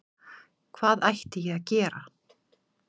Hvað ætti ég að gera?